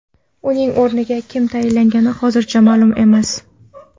Uning o‘rniga kim tayinlangani hozircha ma’lum emas.